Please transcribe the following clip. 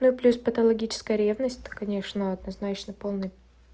ну плюс патологическая ревность это конечно однозначно полный